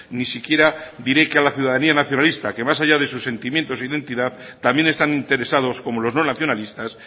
ni siquiera diré que a la ciudadanía nacionalista que más allá de sus sentimiento y su entidad también están interesados como los no nacionalistas